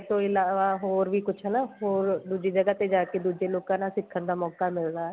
ਤੋਂ ਇਲਾਵਾ ਹੋਰ ਵੀ ਕੁੱਝ ਹਨਾ ਹੋਰ ਦੂਜੀ ਜਗ੍ਹਾ ਤੇ ਜਾ ਕੇ ਦੂਜੇ ਲੋਕਾ ਨਾਲ ਸਿੱਖਣ ਦਾ ਮੋਕਾ ਮਿਲਦਾ